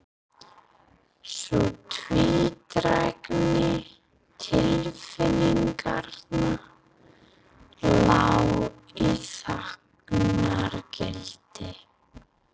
Sú tvídrægni tilfinninganna lá í þagnargildi.